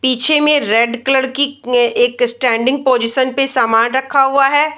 पीछे में red colour की ए-एक स्टेंडिंग पोजीशन पे सामान रखा हुआ है।